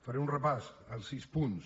faré un repàs dels sis punts